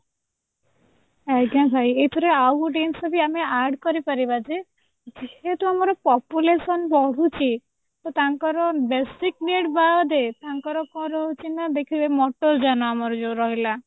ଆଜ୍ଞା ଭାଇ ଏଇଥିରେ ଆଉ ଗୋଟେ ଜିନିଷ ବି ଆମେ add କରିପାରିବା ଯେ ଯେହେତୁ ଆମର population ବଢୁଛି ତ ତାଙ୍କର basic need ବାଦେ ତାଙ୍କାର କଣ ରହୁଛି ନା ଦେଖିବେ motor ଯାନ ଆମର ଯୋଉ ରହିଲା